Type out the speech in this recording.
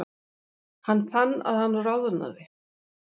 Hann fann að hann roðnaði.